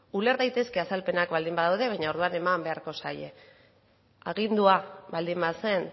uler daitezke azalpenak baldin badaude baina orduan eman beharko zaie agindua baldin bazen